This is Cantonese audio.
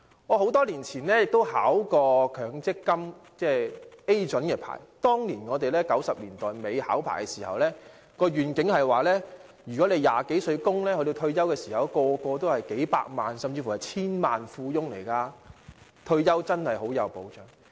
我在多年前曾考取強積金中介人牌照，當年1990年代末考牌時的願景是，如果20多歲開始供款，到退休時，所有人也會擁有數百萬元，甚至會成為千萬富翁，退休確實有保障。